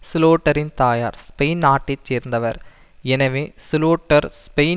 சுலோட்டரின் தாயார் ஸ்பெயின் நாட்டை சேர்ந்தவர் எனவே சுலோட்டர் ஸ்பெயின்